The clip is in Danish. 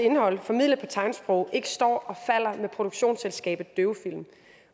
indhold formidlet på tegnsprog ikke står og falder med produktionsselskabet døvefilm